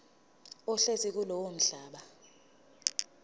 ohlezi kulowo mhlaba